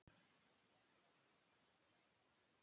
Hvað heldurðu að mamma þín segi?